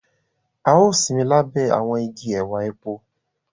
A o sinmi labẹ awọn ìgi ẹwà èpo.